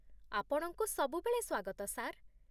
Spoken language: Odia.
ଆପଣଙ୍କୁ ସବୁବେଳେ ସ୍ୱାଗତ, ସାର୍।